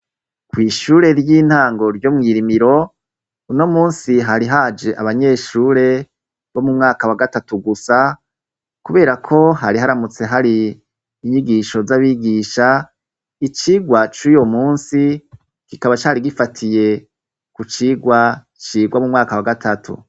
kw'ishure ry'intango ryo mwirimiro unomunsi hari haje abanyeshure bo m'umwaka wa gatatu gusa kuberako hari haramutse hari inyigisho z'abigisha icigwa cuyomunsi kikaba cari gifatiye kucigwa cigwa m'umwaka wa gatatu.